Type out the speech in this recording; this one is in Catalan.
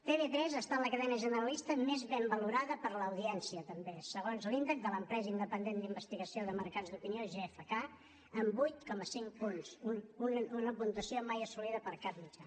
tv3 ha estat la cadena generalista més ben valorada per l’audiència també segons l’índex de l’empresa independent d’investigació de mercats d’opinió gfk amb vuit coma cinc punts una puntuació mai assolida per cap mitjà